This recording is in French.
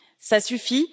Ça suffit!